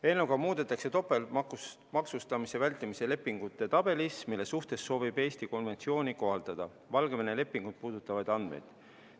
Eelnõuga muudetakse topeltmaksustamise vältimise lepingute tabelis, mille suhtes Eesti soovib konventsiooni kohaldada, Valgevene lepingut puudutavaid andmeid.